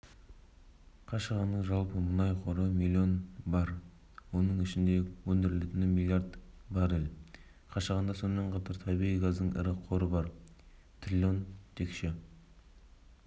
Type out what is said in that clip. қашағанның жалпы мұнай қоры млн барр оның ішінде өндірілетіні млрд баррель қашағанда сонымен қатар табиғи газдың ірі қоры бар трлн текше